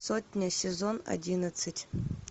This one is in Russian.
сотня сезон одиннадцать